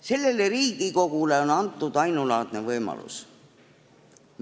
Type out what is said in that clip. Sellele Riigikogule on antud ainulaadne võimalus.